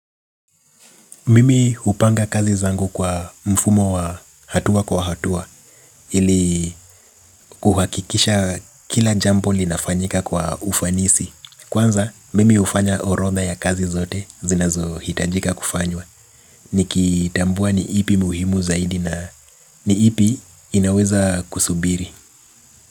Mimi hupanga kazi zangu kwa mfumo wa hatua kwa hatua. Ili kuhakikisha kila jambo linafanyika kwa ufanisi. Kwanza mimi hufanya orodha ya kazi zote zinazo hitajika kufanywa. Nikitambua ni ipi muhimu zaidi na ni ipi inaweza kusubiri.